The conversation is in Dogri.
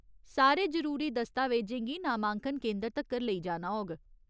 सारे जरूरी दस्तावेजें गी नामांकन केंदर तक्कर लेई जाना होग।